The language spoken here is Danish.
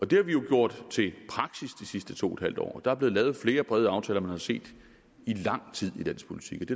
det har vi jo gjort til praksis de sidste to en halv år der er blevet lavet flere brede aftaler end man har set i lang tid i dansk politik